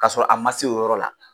K'a sɔrɔ a ma se o yɔrɔ la,